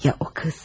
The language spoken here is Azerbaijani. Ya o qız?